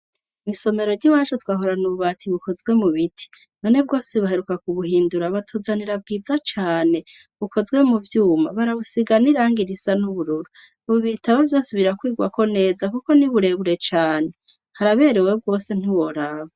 Mw'isomero ry'iwacu twahorana ububati bukozwe mu biti none bwose baheruka kubuhindura batuzanira bwiza cane bukozwe mu vyuma barabusiga n'iranga risa n'ubururu ubu ibitabo vyose birakwigwako neza kuko ni burebure cane haraberewe rwose ntiworaba.